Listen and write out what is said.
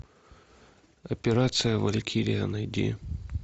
операция валькирия найди